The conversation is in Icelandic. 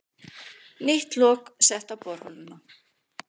Nýtt lok sett á borholuna